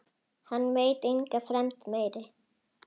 Hann veit enga fremd meiri.